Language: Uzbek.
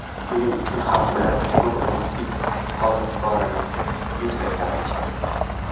Shuning uchun ham ular bugun o‘zbek xaloskorini yuksak qadrlashadi.